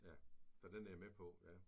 Ja så den er jeg med på ja